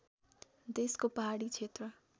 देशको पहाडी क्षेत्र